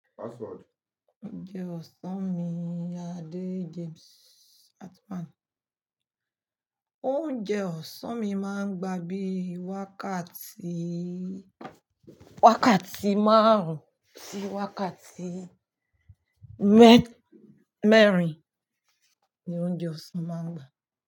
Oúnjẹ ọsàn mi, Ade James Hartman. Oúnjẹ ọsàn mi máa ń gba bíi wákàtí, wákàtí márùn-ún sí wákàtí mẹ́rin ni oúnjẹ ọsàn máa ń gba.